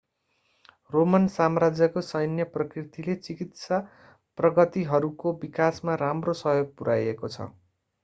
Roman साम्राज्यको सैन्य प्रकृतिले चिकित्सा प्रगतिहरूको विकासमा राम्रो सहयोग पुर्‍याएको छ।